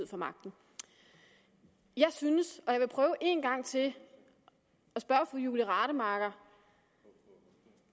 får magten jeg synes jeg vil prøve en gang til at spørge fru julie rademacher